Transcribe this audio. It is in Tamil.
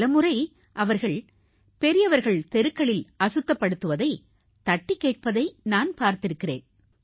பலமுறை அவர்கள் பெரியவர்கள் தெருக்களில் அசுத்தப்படுத்துவதை தட்டிக்கேட்பதை நான் பார்த்திருக்கிறேன்